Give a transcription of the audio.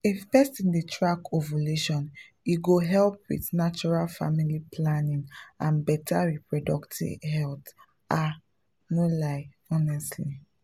if person dey track ovulation e go help with natural family planning and better reproductive health — ah no lie honestly!